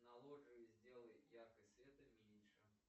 на лоджии сделай яркость света меньше